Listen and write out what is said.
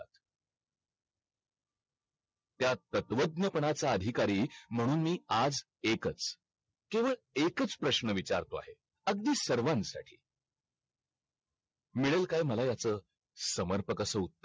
त्या तत्वज्ञ पणा चा अधिकारी म्हणून मी आज एकच केवळ एकच प्रश्न विचारतोय अगदी सर्वांसाठी मिळेल काय मला ह्याचा समरपक प्रकारचा उत्तर